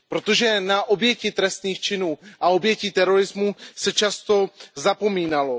Protože na oběti trestných činů a oběti terorismu se často zapomínalo.